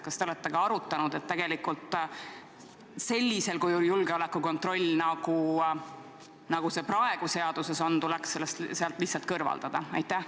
Kas te olete ka arutanud, et sellisel juhul julgeolekukontroll, nagu see praegu seaduses on, tuleks sealt lihtsalt kõrvaldada?